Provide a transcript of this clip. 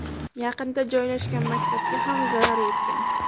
Yaqinda joylashgan maktabga ham zarar yetgan.